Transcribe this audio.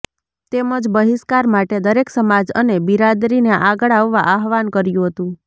તેમજ બહિષ્કાર માટે દરેક સમાજ અને બીરાદરીને આગળ આવવા આહવાન કર્યું હતું